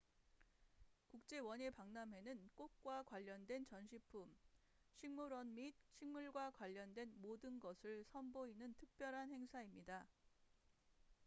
국제 원예 박람회는 꽃과 관련된 전시품 식물원 및 식물과 관련된 모든 것을 선보이는 특별한 행사입니다